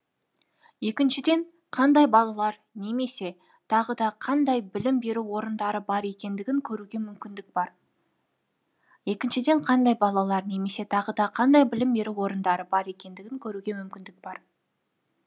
екіншіден қандай балалар немесе тағы да қандай білім беру орындары бар екендігін көруге мүмкіндік бар екіншіден қандай балалар немесе тағы да қандай білім беру орындары бар екендігін көруге мүмкіндік бар